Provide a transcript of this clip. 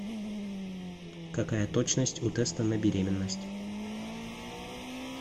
какая точность у теста на беременность